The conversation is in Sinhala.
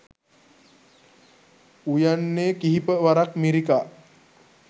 උයන්නේ කිහිප වරක් මිරිකා